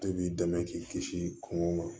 E b'i dɛmɛ k'i kisi kungo ma